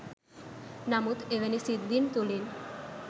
නමුත් එවැනි සිද්ධීන් තුළින්